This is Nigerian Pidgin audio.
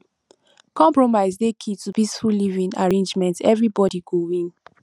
compromise dey key to peaceful living arrangements everybody go win